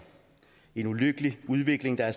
en ulykkelig udvikling der